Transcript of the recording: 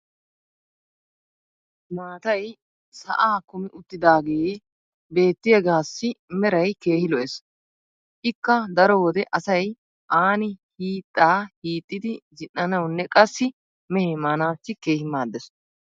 maatay sa"aa kumi uttidaagee beetiyaagaassi meray keehi lo'ees. ikka daro wode asay aani hiixxaa hiixxidi zin'anawunne qassi mehee maanaassi keehi maadees.